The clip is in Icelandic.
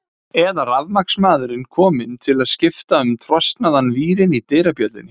Eða rafmagnsmaðurinn kominn til að skipta um trosnaðan vírinn í dyrabjöllunni.